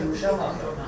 2500 götürmüşəm axı.